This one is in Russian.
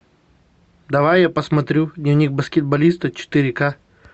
давай я посмотрю дневник баскетболиста четыре ка